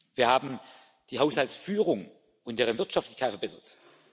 Wir haben die Haushaltsführung und deren Wirtschaftlichkeit verbessert.